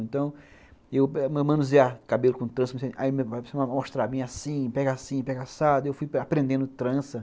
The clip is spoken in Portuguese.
Então, eu manusear cabelo com trança, aí me mostrar assim, pega assim, pega assado, eu fui aprendendo trança.